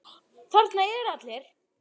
Þarna eru allir.